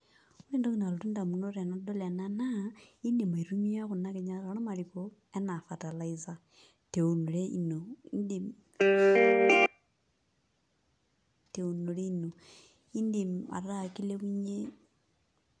Ore entoki nalotu ndamunot tenadol ena naa indim aitumia nkinyat ormariko enaa fertilizer te eunore ino, indim ataa kilepunyie.